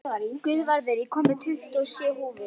Guðvarður, ég kom með tuttugu og sjö húfur!